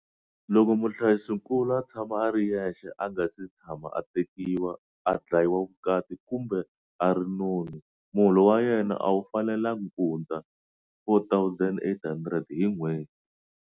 Loko muhlayisinkulu a tshama a ri yexe, a nga si tshama a tekiwa, a dlayile vukati kumbe a ri noni, muholo wa yena a wu fanelangi kuhundza R4 800 hi n'hweti.